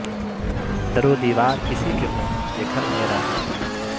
در و دیوار کسی کے ہوں یہ گھر میرا ہے